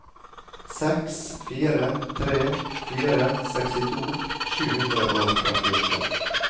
seks fire tre fire sekstito sju hundre og trettiåtte